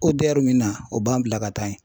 ODER min na o b'an bila ka taa yen